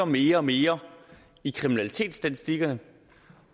mere og mere i kriminalitetsstatistikkerne